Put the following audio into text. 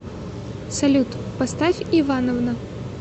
салют поставь ивановна